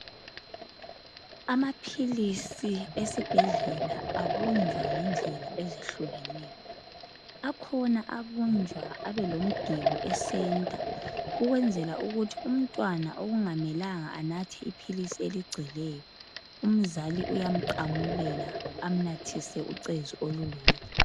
Amaphilisi esibhedlela abunjwa ngendlela ezehlukeneyo. Akhona abunjwa abe lomgelo e senta, ukwenzela ukuthi umntwana okungamelanga anathe iphilisi eligcweleyo, umzali uyamqamulela amnathise ucezu olulodwa.